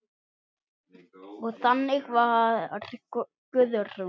Og þannig var Guðrún.